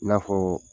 I n'a fɔ